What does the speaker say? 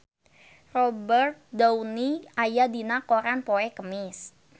Robert Downey aya dina koran poe Kemis